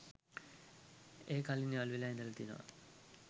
එය කලින් යාලු වෙලා ඉඳල තියනවා